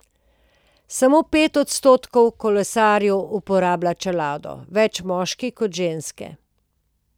Samo pet odstotkov kolesarjev uporablja čelado, več moški kot ženske.